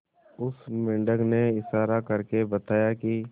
उस मेंढक ने इशारा करके बताया की